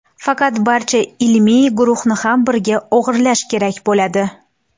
Faqat barcha ilmiy guruhni ham birga o‘g‘irlash kerak bo‘ladi.